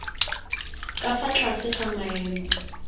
ka fa tlase ga maemo